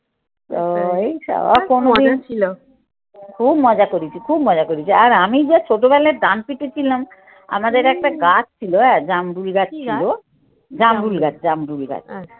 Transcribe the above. তো এই সব খুব মজা করেছি, খুব মজা করেছি। আর আমি যা ছোটবেলায় ডান পিঠে ছিলাম আমাদের একটা গাছ ছিল হ্যাঁ, জাম্বুরি গাছ ছিল, জামগুল গাছ, জামরুল গাছ।